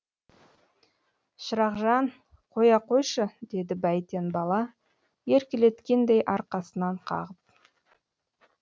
шырақжан қоя қойшы деді бәйтен бала еркелеткендей арқасынан қағып